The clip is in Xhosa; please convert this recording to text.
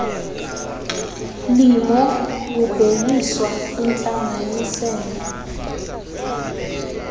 limo kubhekiswa kwintlanganisela